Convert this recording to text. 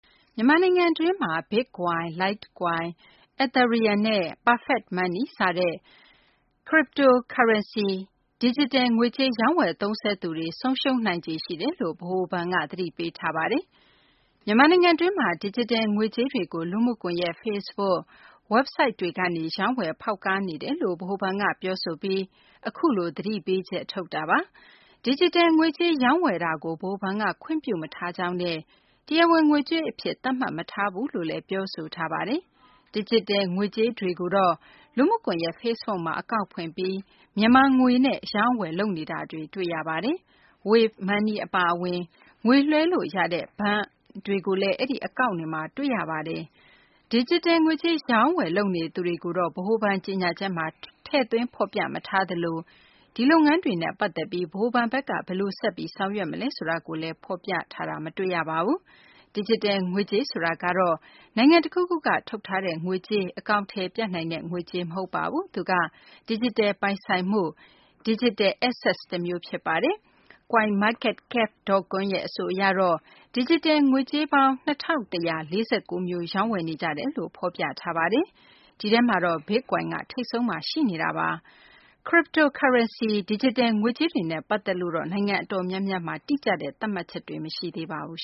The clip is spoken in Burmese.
မြန်မာနိုင်ငံတွင်းမှာ Bitcoin၊ Litecoin၊ Ethereum နဲ့ Perfect Money စတဲ့ Cryptocurrency - ဒီဂျစ်တယ် ငွေကြေး ရောင်းဝယ် သုံးစွဲသူတွေ ဆုံးရှုံးနိုင်ခြေရှိတယ်လို့ ဗဟိုဘဏ်က သတိပေးထားပါတယ်။ မြန်မာနိုင်ငံတွင်းမှာ ဒီဂျစ်တယ် ငွေကြေးတွေကို လူမှုကွန်ယက် Facebook၊ ဝဘ်ဆိုဒ်တွေကနေ ရောင်းဝယ် ဖောက်ကားနေတယ်လို့ ဗဟိုဘဏ်က ပြောဆိုထားပြီး အခုလို သတိပေးချက် ထုတ်တာပါ။ ဒီဂျစ်တယ် ငွေကြေး ရောင်းဝယ်ခြင်းကို ဗဟိုဘဏ်က ခွင့်ပြုမထားကြောင်းနဲ့ တရားဝင် ငွေကြေးအဖြစ် သတ်မှတ်မထားဘူးလို့လည်း ပြောဆိုထားပါတယ်။ ဒီဂျစ်တယ် ငွေကြေးတွေကိုတော့ လူမှုကွန်ယက် Facebook မှာ အကောင့်ဖွင့်ပြီး မြန်မာငွေနဲ့ အရောင်းအဝယ် လုပ်နေတာတွေ တွေ့ရပါတယ်။ wave money အပါအဝင် ငွေလွှဲလို့ရတဲ့ ဘဏ်တွေကိုလည်း အဲဒီ အကောင့်တွေမှာ တွေ့ရပါတယ်။ ဒီဂျစ်တယ် ငွေကြေး အရောင်းအဝယ် လုပ်နေသူတွေကိုတော့ ဗဟိုဘဏ် ကြေညာချက်မှာ ထည့်သွင်း ဖော်ပြမထားသလို ဒီလုပ်ငန်းတွေနဲ့ ပတ်သက်ပြီး ဗဟိုဘဏ်ဘက်က ဘယ်လို ဆက်ပြီး ဆောင်ရွက်မလဲဆိုတာကိုလည်း ဖော်ပြထားတာ မတွေ့ရပါဘူး။ ဒီဂျစ်တယ် ငွေကြေး ဆိုတာကတော့ နိုင်ငံတခုခုက ထုတ်ထားတဲ့ ငွေကြေး၊ အကောင်အထည် ပြနိုင်တဲ့ ငွေကြေး မဟုတ်ပါဘူး။ သူက ဒီဂျစ်တယ် ပိုင်ဆိုင်မှု တမျိုးဖြစ်ပါတယ်။ coinmarketcap.com အဆိုအရတော့ ဒီဂျစ်တယ် ငွေကြေးပေါင်း ၂၁၄၉ မျိုး ရောင်းဝယ်နေကြတယ်လို့ ဖော်ပြထားပါတယ်။ ဒီထဲမှာ Bitcoin က ထိပ်ဆုံးမှာ ရှိနေပါတယ်။ Cryptocurrency – ဒီဂျစ်တယ် ငွေကြေးတွေနဲ့ ပတ်သက်လို့တော့ နိုင်ငံ အတော်များများမှာ တိကျတဲ့ သတ်မှတ်ချက်တွေ မရှိသေးပါဘူး